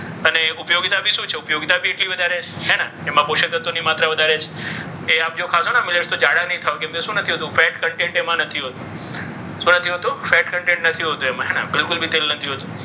અને ઉપયોગીતા બી શું છે? ઉપયોગીતા બી એટલી વધારે છે. હે ને. એમાં પોષક તત્વોની માત્રા વધારે છે. એ આપજો ખાસો ને તો જાડા નહીં થવું. કેમ કે શું નથી હોતું? fat content એમાં નથી હોતું. શું નથી હોતું? fat content નથી હોતું એમાં.